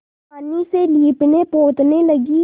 पानी से लीपनेपोतने लगी